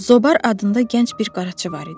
Zobar adında gənc bir qaraçı var idi.